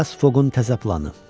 Fileas Foqun təzə planı.